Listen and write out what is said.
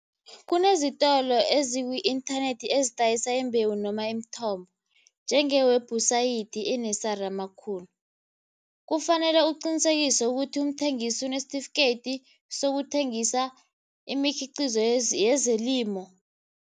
Kunezitolo eziku-inthanethi ezidayisa imbewu noma imithombo njenge-website amakhulu. Kufanele uqinisekise ukuthi umthengisi unesitifikeyiti sokuthengisa imikhiqizo yezelimo.